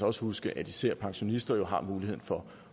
også huske at især pensionister jo har muligheden for